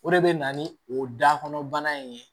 O de bɛ na ni o dakɔnɔbana in ye